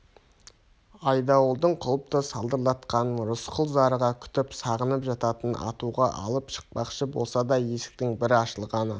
айдауылдың құлыпты салдыратқанын рысқұл зарыға күтіп сағынып жататын атуға алып шықпақшы болса да есіктің бір ашылғаны